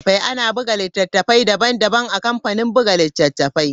Ana buga littattafai daban-daban a kamfanin buga littattafai.